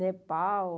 Nepal...